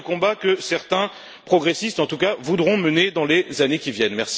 C'est le combat que certains progressistes, en tout cas, voudront mener dans les années qui viennent.